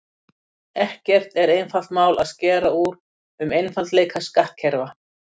Ekki er einfalt mál að skera úr um einfaldleika skattkerfa.